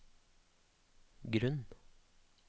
grunn